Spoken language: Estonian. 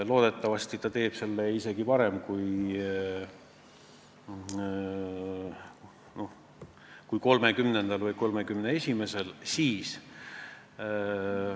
Loodetavasti ta teeb selle otsuse isegi varem kui 30. või 31. oktoobril.